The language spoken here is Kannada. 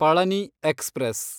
ಪಳನಿ ಎಕ್ಸ್‌ಪ್ರೆಸ್